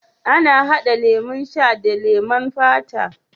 Ana hada lemo sha da leman fata.